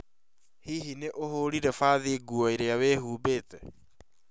Hihi nĩ ũhurire fathi nguo iria wĩhũmbĩte?